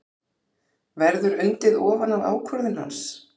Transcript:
Verður undið ofan af ákvörðun hans?